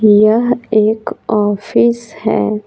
यह एक ऑफिस है।